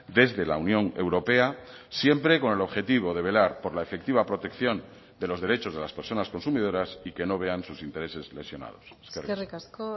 desde la unión europea siempre con el objetivo de velar por la efectiva protección de los derechos de las personas consumidoras y que no vean sus intereses lesionados eskerrik asko